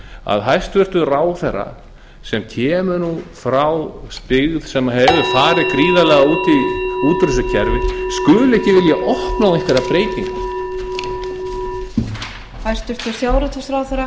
að hæstvirtur ráðherra sem kemur frá byggð sem hefur farið gríðarlega út úr þessu kerfi skuli ekki vilja opna á einhverjar breytingar